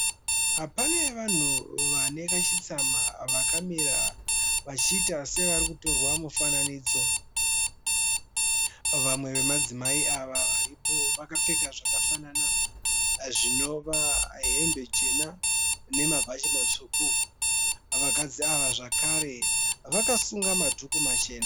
Pane vanhu vane kachitsama vakamira vachiita sevari kutorwa mufananidzo. Vamwe vemadzimai ava varipo vakapfeka zvakafanana, zvinova hembe chena nemabhachi matsvuku. Vakadzi ava zvakare vakasunga madhuku machena.